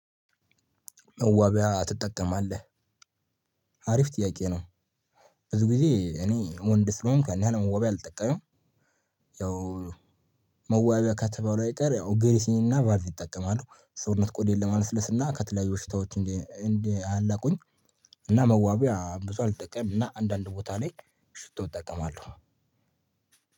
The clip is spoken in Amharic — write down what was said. መዋቢያ ትጠቀማለህ አሪፍ ጥያቄ ነው? ብዙ ጊዜ እኔ ወንድ ስለሆንኩ ያን ያህል ዋቢያ አልጠቀምም። ያው። መዋቢያ ከተባለው አይቀር ያው ግሪሲን እና ቫዝሊን እጠቀማለሁ ሰውነት ቆዳዬን ለማለስለስ እና ከተለያዩ ሽታዎች እንዲያላቁኝ። እና መዋቢያ ብዙ አልጠቀምምና አንዳንድ ቦታ ላይ ሽቶ እጠቀማለሁ።